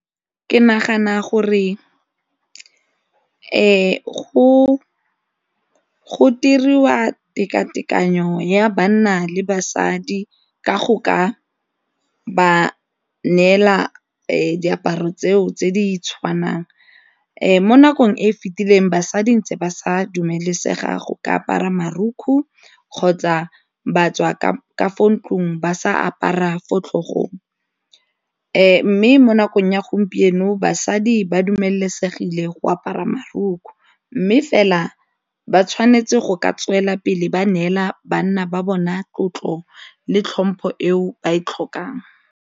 Ke nagana gore go diriwa tekatekano ya banna le basadi ka go ka ba neela diaparo tseo tse di tshwanang, mo nakong e e fitileng basadi ntse ba sa dumelesegeng go ka apara marukgwe kgotsa ba tswa ka ka fo ntlong ba sa apara fo tlhogong, mme mo nakong ya gompieno basadi ba dumelesegile go ka apara marukgwe mme fela ba tshwanetse go ka tswelela pele ba neela banna ba bona tlotlo le tlhompho eo ba e tlhokang.